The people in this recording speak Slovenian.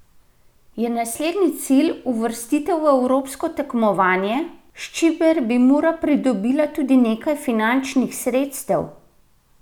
Je naslednji cilj uvrstitev v evropsko tekmovanje, s čimer bi Mura pridobila tudi nekaj finančnih sredstev?